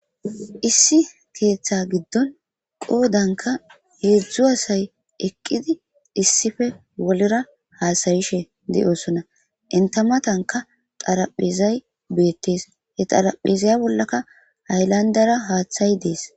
Issi keeththaa giddon qoodankka heezzu asay eqqidi issipe bollera haasayishe de7oosona; enththa mathankka xaraphpheezay beeththees; he xaraphpheeza bollaka haylanddeera haaththay dees.